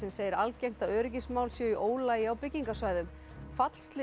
segir algengt að öryggismál séu í ólagi á byggingarsvæðum